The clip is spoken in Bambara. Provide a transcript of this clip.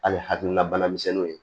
Hali hakilina banamisɛnninw